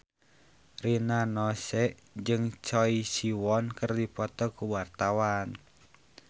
Rina Nose jeung Choi Siwon keur dipoto ku wartawan